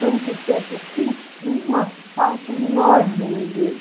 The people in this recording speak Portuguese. Tanto que eu sinto uma falta enorme dele.